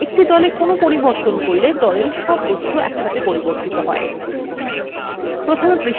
একটি দলে কোন পরিবর্তন করলে দলের সব বস্তু একসাথে পরিবর্তিত হয়